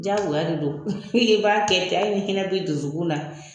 Diyagoya de don i b'a kɛ ten hali ni hinɛ bɛ i dusukun na.